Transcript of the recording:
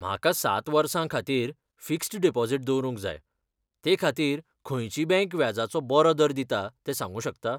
म्हाका सात वर्सां खातीर फिक्स्ड डिपॉझिट दवरूंक जाय, ते खातीर खंयची बँक व्याजाचो बरो दर दिता तें सांगूं शकता?